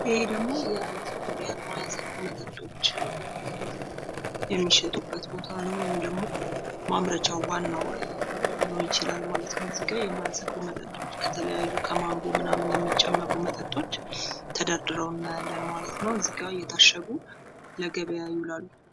ይሄ ደግሞ የማያሰክሩ መጠጦች የሚሸጡበት ቦታ ነው ወይም ደግሞ ማምረቻ ዋናው ሊሆን ይችላል ማለት ነው ።እዚጋ የማያሰክሩ መጠጦች የተለያዩ ከማንጎ ምናምን የሚጨመቁ መጠጦች ተደርድረው እናያለን ማለት ነው። እዚጋ እየታሸጉ ለገበያ ይውላሉ።